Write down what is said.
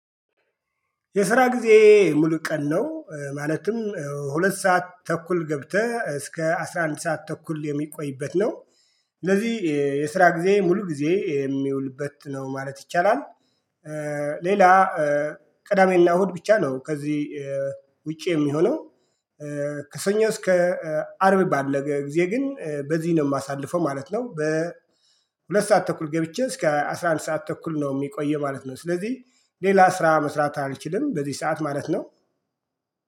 የስራ ጊዜዬ ሙሉ ቀን ነው ማለትም ሁለት ሰዓት ተኩል ገብተህ እስከ አስራ አንድ ሰዓት ተኩል የሚቆይበት ነው። ስለዚህ የስራ ጊዜዬ ሙሉ ጊዜ የሚውልበት ነው ማለት ይቻላል። ሌላ ቅዳሜና እሁድ ብቻ ነው ከዚህ ውጪ የሚሆነው። ከሰኞ እስከ አርብ ባለ ጊዜ ግን በዚህ ነው የማሳልፈው ማለት ነው። በሁለት ሰዓት ተኩል ገብቼ እስከ አስራ አንድ ሰዓት ተኩል ነው የሚቆየው ማለት ነው። ስለዚህ ሌላ ስራ መስራት አልችልም በዚህ ሰዓት ማለት ነው